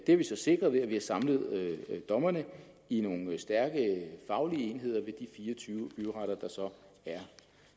har vi så sikret ved at vi har samlet dommerne i nogle stærke faglige enheder ved de fire og tyve byretter der så er